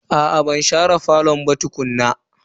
Aa ban share falo ba tukuna.